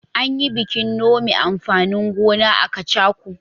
An yi bikin nome amfanin gona a Kacako.